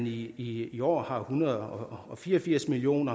i i år har en hundrede og fire og firs million